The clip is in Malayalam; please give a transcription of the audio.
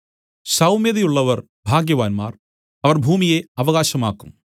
സൌമ്യതയുള്ളവർ ഭാഗ്യവാന്മാർ അവർ ഭൂമിയെ അവകാശമാക്കും